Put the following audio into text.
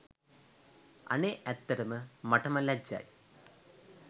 අනේ ඇත්තටම මටම ලැජ්ජයි